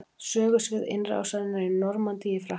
Sögusvið innrásarinnar í Normandí í Frakklandi.